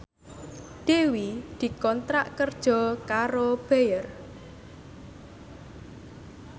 Dewi dikontrak kerja karo Bayer